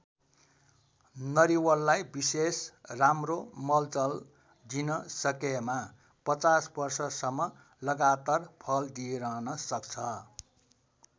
नरिवललाई विशेष राम्रो मलजल दिन सकेमा ५० वर्षसम्म लगातार फल दिइरहन सक्छ।